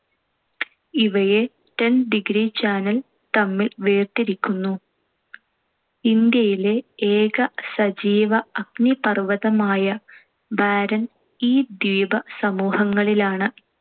ഇവയെ ten degree channel തമ്മിൽ വേർതിരിക്കുന്നു. ഇന്ത്യയിലെ ഏക സജീവ അഗ്നിപർ‌വ്വതമായ ബാരൺ ഈ ദ്വീപ സമൂഹങ്ങളിലാണ്‌.